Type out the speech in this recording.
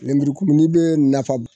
Lemurukumunin bɛ nafa